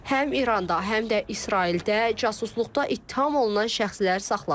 Həm İranda, həm də İsraildə casusluqda ittiham olunan şəxslər saxlanılır.